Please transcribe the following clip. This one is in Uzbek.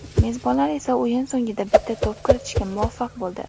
Mezbonlar esa o‘yin so‘ngida bitta to‘p kiritishga muvaffaq bo‘ldi.